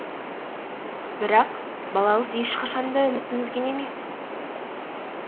бірақ балауыз ешқашан да үмітін үзген емес